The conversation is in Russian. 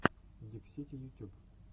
диксити ютюб